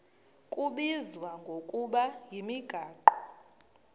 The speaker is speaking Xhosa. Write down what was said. kubizwa ngokuba yimigaqo